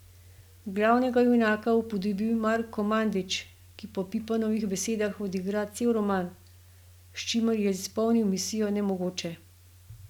Glavnega junaka upodobi Marko Mandić, ki po Pipanovih besedah odigra cel roman, s čimer je izpolnil misijo nemogoče.